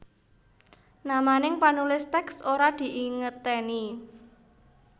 Namaning panulis tèks ora dingeetèni